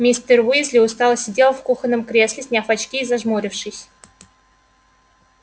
мистер уизли устало сидел в кухонном кресле сняв очки и зажмурившись